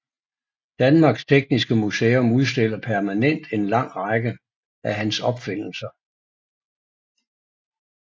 Danmarks Tekniske Museum udstiller permanent en lang række af hans opfindelser